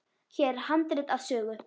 Hér er handrit að sögu.